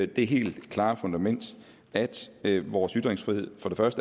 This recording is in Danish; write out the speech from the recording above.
det helt klare fundament at vores ytringsfrihed